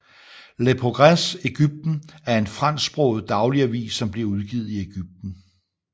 Le Progrès Egyptien er en fransk sproget daglig avis som bliver udgivet i Egypten